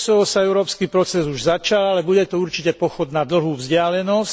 Pre Kosovo sa európsky proces už začal, ale bude to určite pochod na dlhú vzdialenosť.